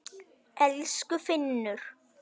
Elsku Finnur.